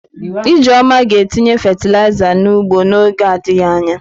Ijeoma ga-etinye fatịlaịza n'ugbo n'oge adịghị anya.